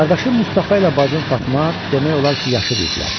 Qardaşım Mustafa ilə bacım Fatma demək olar ki, yaşıddılar.